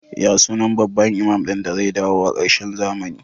Ya sunan babban imam din da zai dawo a karshen zamani?